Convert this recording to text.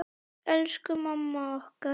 Elsku mamma okkar.